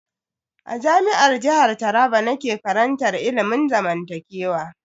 A Jami'ar jihar Taraba nake karantar ilimin zamantakewa.